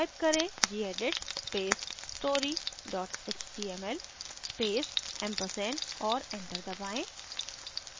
type करें: gedit space story html space ampersand और enter दबाएँ